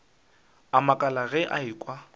a makala ge a ekwa